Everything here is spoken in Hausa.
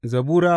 Zabura Sura